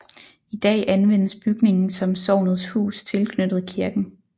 I dag anvendes bygningen som Sognets Hus tilknyttet kirken